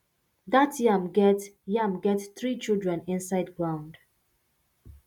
that yam get yam get three children inside ground